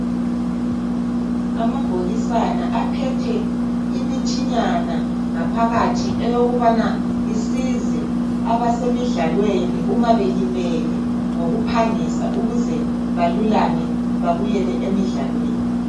Abhokisana aphathe imithinyana ngaphakathi eyokubana isize abase mdlalweni uma belimele ngokuphangisa ukuze babuyele emidlalweni.